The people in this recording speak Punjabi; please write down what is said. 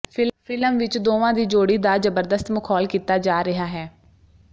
ਫਿਲਮ ਵਿਚ ਦੋਵਾਂ ਦੀ ਜੋੜੀ ਦਾ ਜ਼ਬਰਦਸਤ ਮਖੌਲ ਕੀਤਾ ਜਾ ਰਿਹਾ ਹੈ